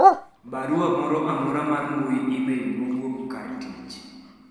barua moro amora mar mbui email mowuok kar tich